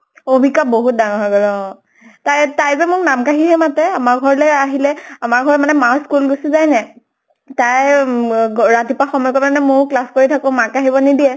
কবিতা বহুত ডাঙৰ হৈ গʼল, অʼ। তাই তাই যে মোক নাম কাঢ়িহে মাতে আমাৰ ঘৰলৈ আহিলে। আমাৰ ঘৰত মানে মা school গুছি যায় যে। তাই উম গ ৰাতিপুৱা কাৰণে ময়ো class কৰি থাকো, মাক আহিব নিদিয়ে